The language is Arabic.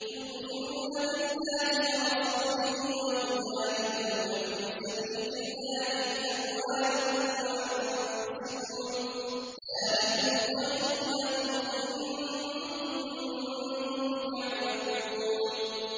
تُؤْمِنُونَ بِاللَّهِ وَرَسُولِهِ وَتُجَاهِدُونَ فِي سَبِيلِ اللَّهِ بِأَمْوَالِكُمْ وَأَنفُسِكُمْ ۚ ذَٰلِكُمْ خَيْرٌ لَّكُمْ إِن كُنتُمْ تَعْلَمُونَ